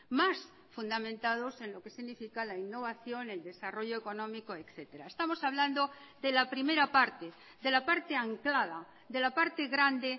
más fundamentados en lo que significa la innovación el desarrollo económico etcétera estamos hablando de la primera parte de la parte anclada de la parte grande